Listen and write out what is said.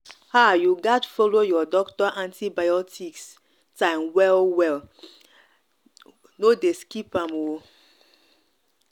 ah you gats follow your doctor antibiotic time well antibiotic time well well no dey skip am.